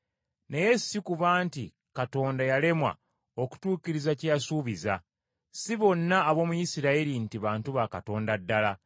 Naye si kuba nti Katonda yalemwa okutuukiriza kye yasuubiza. Si bonna ab’omu Isirayiri nti bantu ba Katonda ddala.